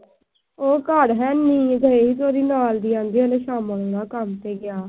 ਉਹ ਘਰ ਹੈ ਨੀ। ਗਈਆਂ ਸੀ ਉਹਦੇ ਨਾਲ ਦੀਆਂ ਕਹਿਣ ਦੀਆਂ ਸ਼ਾਮੋ ਹਰੀਆ ਕੰਮ ਤੇ ਗਿਆ।